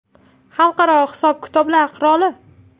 Xalqaro hisob-kitoblar qiroli.